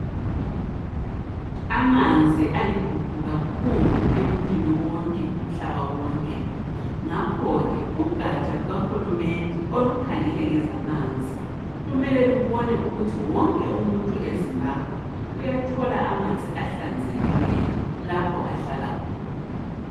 Amanzi aligugu kakhulu emuntwini wonke umhlaba wonke. Ngakho ke ugaja lukahulumende olukhangelae ngezamanzi, kumele lubone ukuthi wonke umuntu eZimbabwe uyathola amanzi ahlanzekileyo lapho ahlala khona.